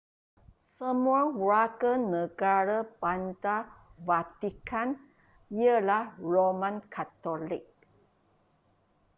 semua warganegara bandar vatican ialah roman katolik